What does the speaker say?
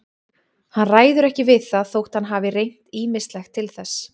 Hann ræður ekki við það þótt hann hafi reynt ýmislegt til þess.